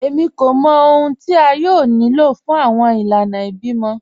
Èmí kò mọ̀ ọ̀hun tí a yóò ní ló fún awọn ìlànà ìbímọ